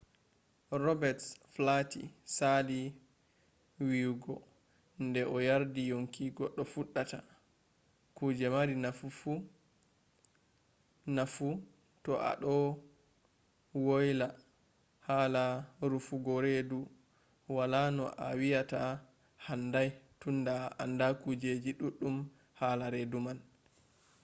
robets flati sali wiyugo nde o yardi yonki goɗɗo fuɗɗata kuje mari nafu to a ɗo woıla hala rufugo redu. wala no a wiyata handai tunda a anda kujeji ɗuɗɗum hala redu man